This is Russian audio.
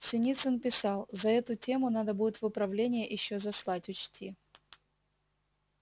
синицын писал за эту тему надо будет в управление ещё заслать учти